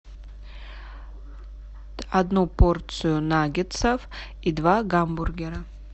одну порцию наггетсов и два гамбургера